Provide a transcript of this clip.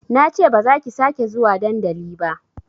Nace bazaki sake zuwa dandali ba